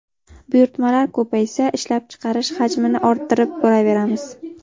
Buyurtmalar ko‘paysa, ishlab chiqarish hajmini orttirib boraveramiz.